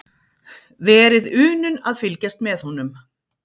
Verið unun að fylgjast með honum.